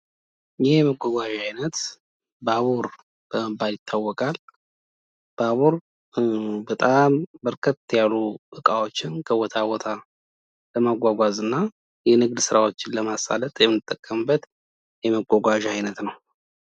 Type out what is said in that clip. ይህ የመጓጓዣ አይነት ባቡር በመባል ይታወቃል። ባቡር በጣም በርከት ያሉ እቃዎችን ከቦታ ቦታ ለማጓጓዝ እና የንግድ ስራዎችን ለማሳለጥ የምንጠቀምበት የመጓጓዣ አይነት ነው።